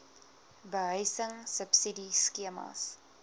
behuising subsidie skemas